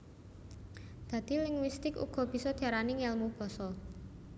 Dadi linguistik uga bisa diarani Ngèlmu basa